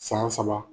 San saba